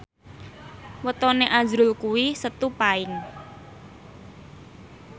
wetone azrul kuwi Setu Paing